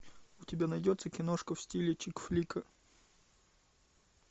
у тебя найдется киношка в стиле чик флика